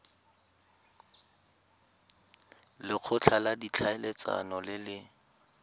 lekgotla la ditlhaeletsano le le